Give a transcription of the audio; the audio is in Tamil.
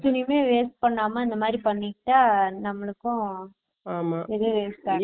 துணிய waste பண்ணாம இந்தமாதிரி பண்ணிக்கிட்ட நம்மளுக்கும் ரொம்ப use ஆகும்